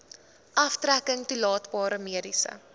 aftrekking toelaatbare mediese